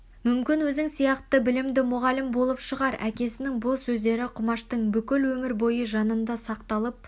мүмкін өзің сияқты білімді мұғалім болып шығар әкесінің бұл сөздері құмаштың бүкіл өмір бойы жанында сақталып